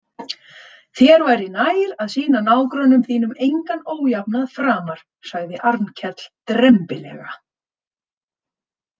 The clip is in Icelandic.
Þér væri nær að sýna nágrönnum þínum engan ójafnað framar, sagði Arnkell drembilega.